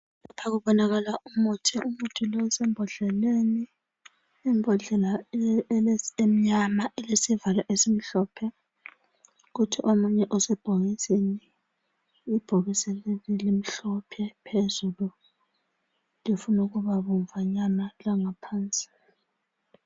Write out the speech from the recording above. Lapha kubonakala umuthi , umuthi lo isembhodleleni , imbhodlela ele emnyama ilesivalo esimhlophe kuthi omunye osebhokisini , ibhokisi leli limhlophe phezulu lifunukuba bomvanyana langaphansi